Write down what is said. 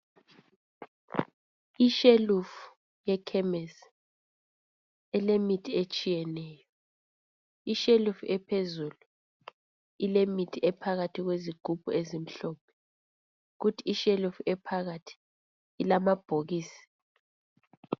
Ishelufu yekhemisi ilemithi etshiyeneyo. Ishelufu ephezulu ilemithi ephakathi kwezigubhu ezimhlophe. Kuthi ishelufu ephakathi ilamabhokisi